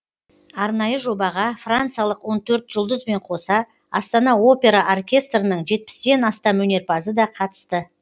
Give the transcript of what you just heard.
арнайы жобаға франциялық он төрт жұлдызбен қоса астана опера оркестрінің жетпістен астам өнерпазы да қатысты